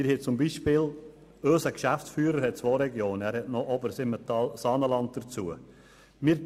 Wir haben zum Beispiel unseren Geschäftsführer, der zwei Regionen betreut, nämlich noch die Region Obersimmental-Saanenland.